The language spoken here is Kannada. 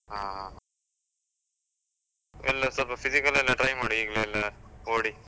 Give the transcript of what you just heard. ಹಾ ಹಾ, ಎಲ್ಲ ಸ್ವಲ್ಪ physical ಎಲ್ಲ try ಮಾಡು ಈಗ್ಲೇ ಎಲ್ಲ ಓಡಿ.